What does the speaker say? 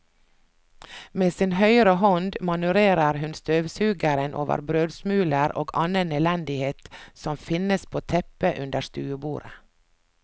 Med sin høyre hånd manøvrerer hun støvsugeren over brødsmuler og annen elendighet som finnes på teppet under stuebordet.